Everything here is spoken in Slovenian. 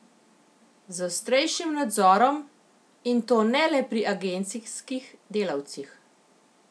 Z ostrejšim nadzorom, in to ne le pri agencijskih delavcih.